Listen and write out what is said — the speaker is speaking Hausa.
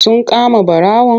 Sun kama ɓarawon?